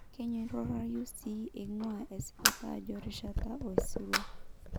'kenyoraroyu sii engua esipata ajo rishat osirua.